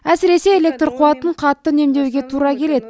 әсіресе электр қуатын қатты үнемдеуге тура келеді